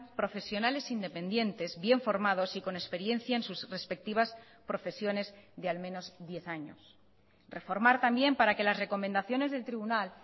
profesionales independientes bien formados y con experiencia en sus respectivas profesiones de al menos diez años reformar también para que las recomendaciones del tribunal